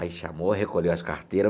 Aí chamou, recolheu as carteira.